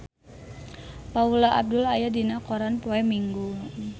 Paula Abdul aya dina koran poe Minggon